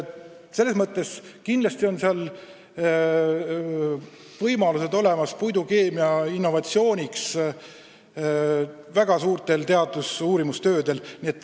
See pakub kindlasti võimalusi ulatuslikeks uurimistöödeks puidukeemia innovatsiooni vallas.